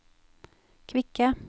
kvikke